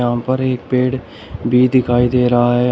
यहां पर एक पेड़ भी दिखाई दे रहा है।